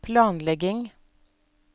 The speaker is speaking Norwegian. planlegging